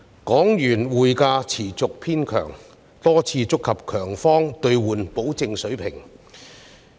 港元匯價持續偏強，多次觸及強方兌換保證水平。